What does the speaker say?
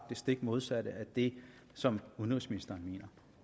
det stik modsatte af det som udenrigsministeren mener